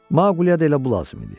Maquleyə də elə bu lazım idi.